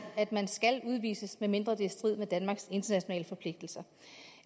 at man skal udvises medmindre det er i strid med danmarks internationale forpligtelser